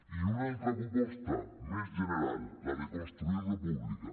i una altra proposta més general la de construir república